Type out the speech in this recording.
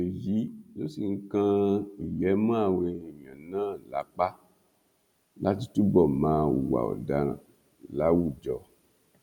èyí ló sì ń kan ìyè mọ àwọn èèyàn náà lápá láti túbọ máa hùwà ọdaràn láwùjọ